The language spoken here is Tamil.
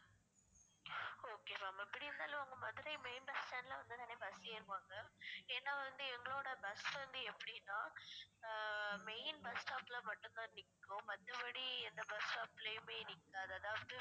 okay ma'am எப்படி இருந்தாலும் உங்க மதுரை main bus stand ல வந்துதானே bus ஏறுவாங்க ஏன்னா வந்து எங்களோட bus வந்து எப்படின்னா ஆஹ் main bus stop ல மட்டும்தான் நிக்கும் மத்தபடி எந்த bus stop லயுமே நிக்காது அதாவது